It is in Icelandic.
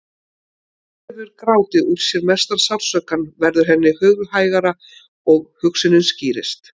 Þegar hún hefur grátið úr sér mesta sársaukann verður henni hughægra og hugsunin skýrist.